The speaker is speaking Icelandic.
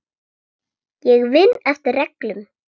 Ég vinn eftir reglum.